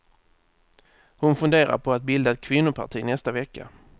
Hon funderar på att bilda ett kvinnoparti nästa vecka.